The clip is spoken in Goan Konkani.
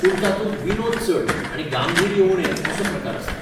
पूण तातूंत विनोद चड आनी गांभिर्य उणें असो प्रकार आसता.